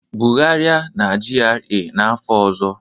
Bugharịa na GRA n'afọ ọzọ